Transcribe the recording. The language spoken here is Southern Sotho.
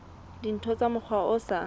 dintho ka mokgwa o sa